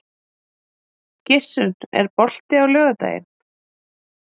Gissunn, er bolti á laugardaginn?